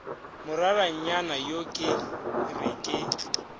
moraranyana yo ke re ke